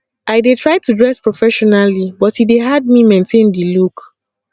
i dey try to dress professionally but e dey hard me maintain di look